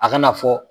A kana fɔ